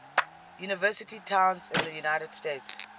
university towns in the united states